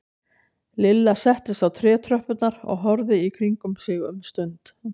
Lilla settist á trétröppurnar og horfði í kringum sig um stund.